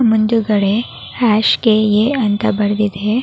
ಮುಂದುಗಡೆ hash K A ಅಂತ ಬರೆದಿದೆ.